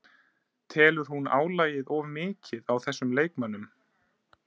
Telur hún álagið of mikið á þessum leikmönnum?